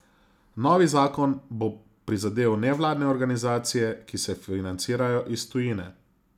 Novi zakon bo prizadel nevladne organizacije, ki se financirajo iz tujine.